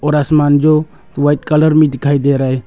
और आसमान जो व्हाइट कलर में दिखाई दे रहा है।